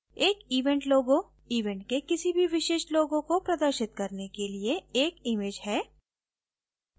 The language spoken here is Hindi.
एक event logo event के किसी भी विशिष्ट logo को प्रदर्शित करने के लिए एक image है